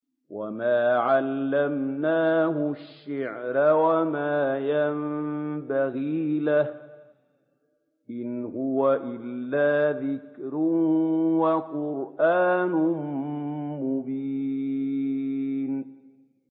وَمَا عَلَّمْنَاهُ الشِّعْرَ وَمَا يَنبَغِي لَهُ ۚ إِنْ هُوَ إِلَّا ذِكْرٌ وَقُرْآنٌ مُّبِينٌ